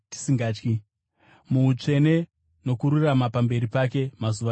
muutsvene nokururama pamberi pake mazuva edu ose.